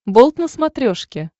болт на смотрешке